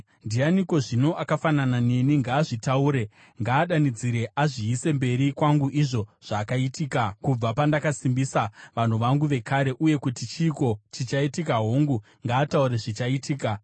Ndianiko zvino akafanana neni? Ngaazvitaure. Ngaadanidzire, azviise mberi kwangu izvo zvakaitika kubva pandakasimbisa vanhu vangu vekare, uye kuti chiiko chichaitika hongu, ngaataure zvichaitika.